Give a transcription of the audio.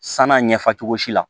San'a ɲɛfɛ cogo si la